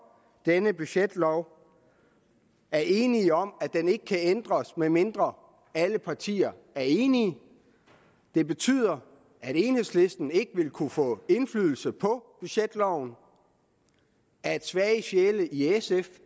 denne budgetlov er enige om at den ikke kan ændres medmindre alle partier er enige det betyder at enhedslisten ikke vil kunne få indflydelse på budgetloven at svage sjæle i sf